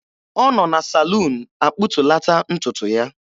Ọ nọ na saluun akpụtulata ntutu ya.